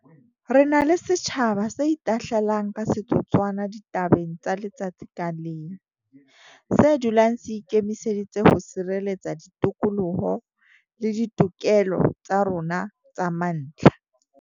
Re na le setjhaba se itahlelang ka setotswana ditabeng tsa letsatsi ka leng, se dulang se ikemiseditse ho sireletsa ditokoloho le ditokelo tsa rona tsa mantlha.